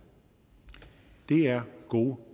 er gode